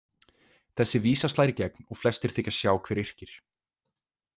Þessi vísa slær í gegn og flestir þykjast sjá hver yrkir.